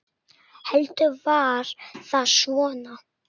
Heldur var það svona!